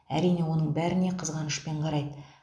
әрине оның бәріне қызғанышпен қарайды